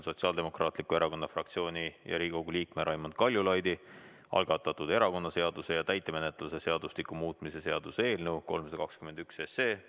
Sotsiaaldemokraatliku Erakonna fraktsiooni ja Riigikogu liikme Raimond Kaljulaidi algatatud erakonnaseaduse ja täitemenetluse seadustiku muutmise seaduse eelnõu esimene lugemine.